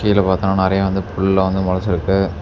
இதுல பாத்தா நெறைய வந்து புல்லாம் வந்து மொளச்சுருக்கு.